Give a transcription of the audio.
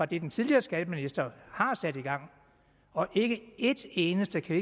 det den tidligere skatteminister har sat i gang og ikke et eneste kan